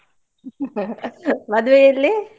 ಮದ್ವೆ ಎಲ್ಲಿ?